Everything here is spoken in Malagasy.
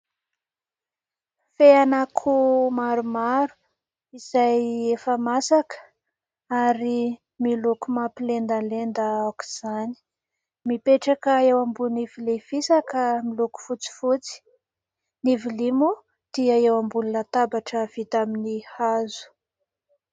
Fean'akoho maromaro izay efa masaka ary miloko mampilendalenda aok'izany. Mipetraka eo ambonin'ny vilia fisaka miloko fotsifotsy. Ny vilia moa dia eo ambony latabatra vita amin'ny hazo.